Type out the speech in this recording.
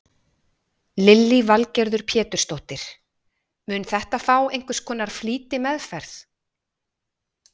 Lillý Valgerður Pétursdóttir: Mun þetta fá einhvers konar flýtimeðferð?